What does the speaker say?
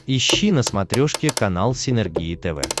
ищи на смотрешке канал синергия тв